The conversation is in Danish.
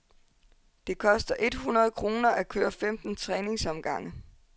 Det koster et hundrede kroner at køre femten træningsomgange.